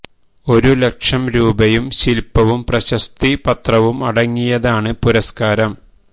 ഒരു ലക്ഷം രൂപയും ശിൽപ്പവും പ്രശസ്തി പത്രവും അടങ്ങിയതാണ് പുരസ്കാരം